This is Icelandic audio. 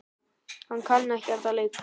Ég kann ekkert að leika.